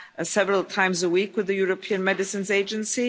several times a week with the European Medicines Agency.